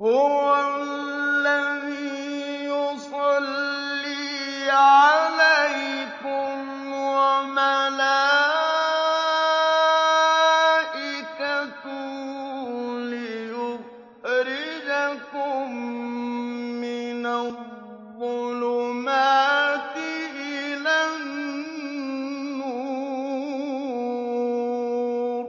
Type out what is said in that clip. هُوَ الَّذِي يُصَلِّي عَلَيْكُمْ وَمَلَائِكَتُهُ لِيُخْرِجَكُم مِّنَ الظُّلُمَاتِ إِلَى النُّورِ ۚ